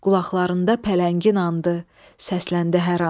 Qulaqlarında pələngin anı səsləndi hər an.